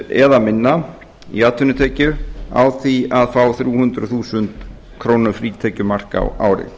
eða minna í atvinnutekjur á því að fá þrjú hundruð þúsund króna frítekjumark á ári